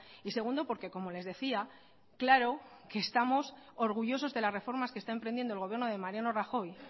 y segundo porque como les decía claro que estamos orgullosos de las reformas que está emprendiendo el gobierno de mariano rajoy